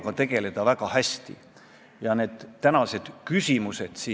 Kes seda ei usu, võiks uurida, mis toimub antisemiidi ajus siis, kui ta arutab mingeid massoonide saladusi.